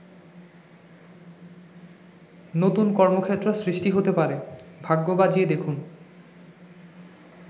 নতুন কর্মক্ষেত্র সৃষ্টি হতে পারে, ভাগ্য বাজিয়ে দেখুন।